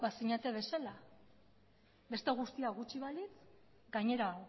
bazinete bezala beste guztia gutxi balitz gainera